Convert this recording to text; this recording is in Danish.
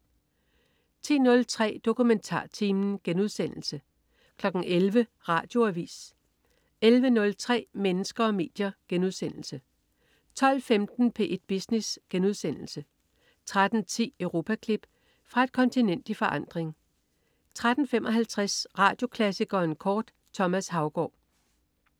10.03 DokumentarTimen* 11.00 Radioavis 11.03 Mennesker og medier* 12.15 P1 Business* 13.10 Europaklip. Fra et kontinent i forandring 13.55 Radioklassikeren kort. Thomas Haugaard